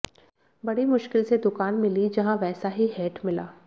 बड़ी मुश्किल से दुकान मिली जहां वैसा ही हैट मिला